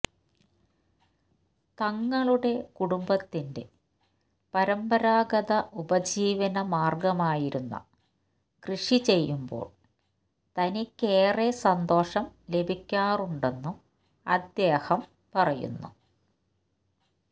തങ്ങളുടെ കുടുംബത്തിന്റെ പരമ്പരാഗത ഉപജീവനമാർഗമായിരുന്ന കൃഷി ചെയ്യുമ്പോൾ തനിക്കേറെ സന്തോഷം ലഭിക്കാറുണ്ടെന്നും അദ്ദേഹം പറയുന്നു